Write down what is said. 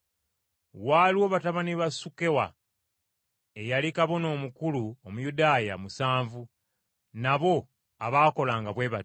Waaliwo batabani ba Sukewa, eyali kabona omukulu Omuyudaaya, musanvu, nabo abaakolanga bwe batyo.